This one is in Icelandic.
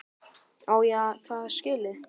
Á ég það skilið?